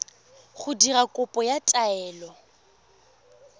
go dira kopo ya taelo